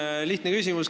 Mul on lihtne küsimus.